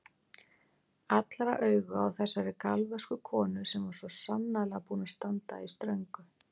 Allra augu á þessari galvösku konu sem var svo sannarlega búin að standa í ströngu.